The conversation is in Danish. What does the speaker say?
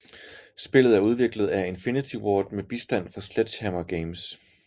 Spillet er udviklet af Infinity Ward med bistand fra Sledgehammer Games